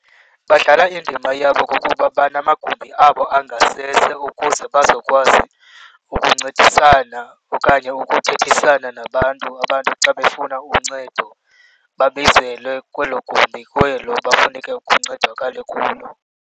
Badlala indima yabo kokuba banamagumbi abo angasese ukuze bazokwazi ukuncedisana okanye ukuthethisana nabantu abantu xa befuna uncedo, babizelwe kwelo gumbi kwelo bafuneke kuncedakale kulo.